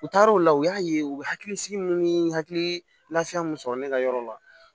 U taar'o la u y'a ye u bɛ hakili sigi minnu ni hakili lafiya mun sɔrɔ ne ka yɔrɔ la